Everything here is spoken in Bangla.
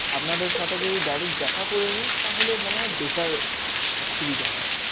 আপনাদের সাথে যদি direct দেখা করে নি, তাহলে মনে হয় better সুবিধা হয়